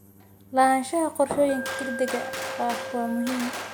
Lahaanshaha qorshooyinka degdega ah waa muhiim.